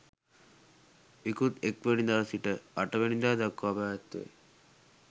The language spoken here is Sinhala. ඉකුත් 01 වැනි දා සිට 08 වැනි දා දක්වා පැවැත්වේ.